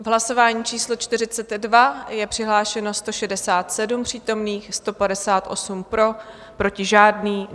V hlasování číslo 42 je přihlášeno 167 přítomných, 158 pro, proti žádný.